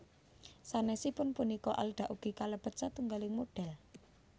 Sanèsipun punika Alda ugi kalebet satunggalipun modhèl